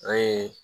O ye